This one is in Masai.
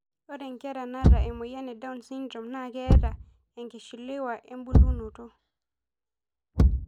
Ore nkera nata emoyian e down syndrome naa ketaa enkishiliwa embulunoto.